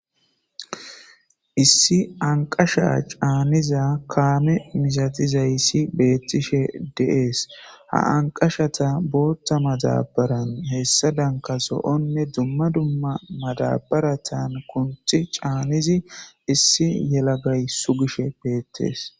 issi anqasha caaniza kaame misatizayssi beettishe de'ees ha anqashata bootta madabaran hessa danka zo7onne dumma dumma madabaratan kunthi caanidi issi yelagay sugishe beettees